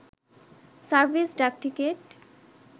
service ডাকটিকেট